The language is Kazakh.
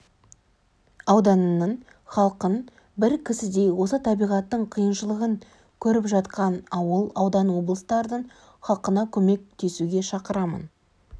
ауданының халқын бір кісідей осы табиғаттың қиыншылығын көріп жатқан ауыл аудан облыстардың халқына көмектесуге шақырамын